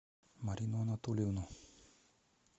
марину анатольевну